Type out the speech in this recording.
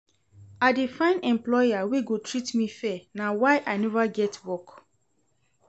I dey find employer wey go treat me fair na why I neva get work.